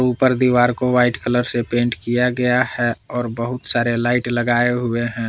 ऊपर दीवार को व्हाइट कलर से पेंट किया गया है और बहुत सारे लाइट लगाए हुए हैं।